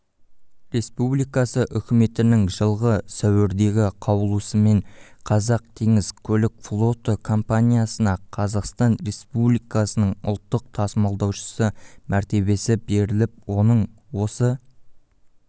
республикасы үкіметінің жылғы сәуірдегі қаулысымен қазақтеңізкөлікфлоты компаниясына қазақстан республикасының ұлттық тасымалдаушысы мәртебесі беріліп оның осы